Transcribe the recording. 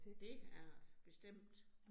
Det er det. Bestemt